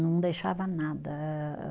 Não deixava nada. Ah ah